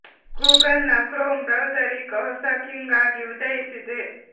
Google ನ Chrome browser ಈಗ ಹೊಸ ಕಿಂಗ್ ಆಗಿ ಉದಯಿಸಿದೆ